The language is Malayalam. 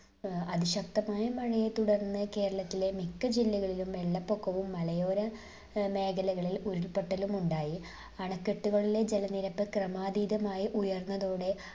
ഏർ അതിശക്തമായ മഴയെ തുടർന്ന് കേരളത്തിലെ മിക്ക ജില്ലകളിലും വെള്ളപ്പൊക്കവും മലയോര ഏർ മേഖലകളിൽ ഉരുൾപൊട്ടലും ഉണ്ടായി. അണക്കെട്ടുകളിലെ ജലനിരപ്പ് ക്രമാതീതമായി ഉയർന്നതോടെ